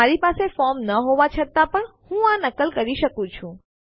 મારી પાસે ફોર્મ ન હોવા છતાં પણ હું આ નકલ કરી શકું છું